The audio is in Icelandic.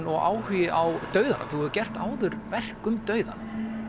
og áhugi á dauðanum þú hefur gert áður verk um dauðann